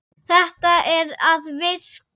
Þetta er að virka.